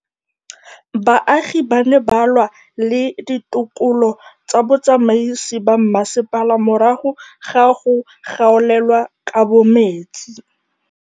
Baagi ba ne ba lwa le ditokolo tsa botsamaisi ba mmasepala morago ga go gaolelwa kabo metsi